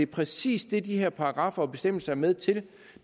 præcis det de her paragraffer og bestemmelser er med til